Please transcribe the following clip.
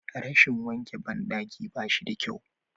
Rashin wanke bandaki ba shi da kyau.